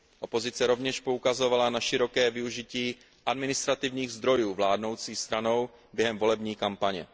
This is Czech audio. Opozice rovněž poukazovala na široké využití administrativních zdrojů vládnoucí stranou během volební kampaně.